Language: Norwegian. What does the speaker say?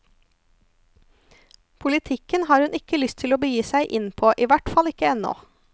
Politikken har hun ikke lyst å begi seg inn på, i hvert fall ikke ennå.